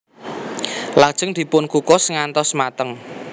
Lajeng dipun kukus ngantos mateng